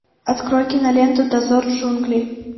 открой киноленту дозор джунглей